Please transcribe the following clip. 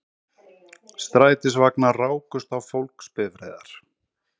Strætisvagnar rákust á fólksbifreiðar